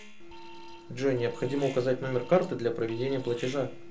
джой необходимо указать номер карты для проведения платежа